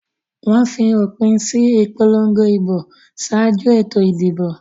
Wọ́n fi òpin sí ìpolongo ìbò ṣáájú ètò ìdìbò.